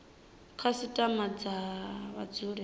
khasitama vha dzule vha tshi